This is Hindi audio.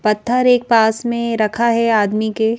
पत्थर एक पास में रखा है आदमी के--